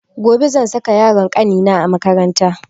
Gobe zan saka yaron kanina a makaranta